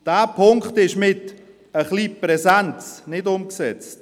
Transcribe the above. Dieser Punkt ist mit ein wenig Präsenz nicht umgesetzt.